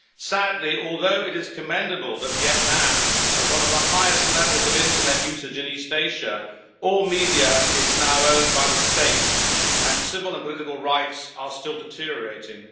Sadly, although it is commendable that Vietnam has one of the highest levels of internet usage in East Asia, all media is now owned by the state, and civil and political rights are still deteriorating.